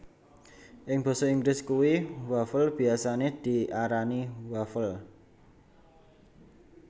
Ing basa Inggris kue wafel biyasane diarani waffle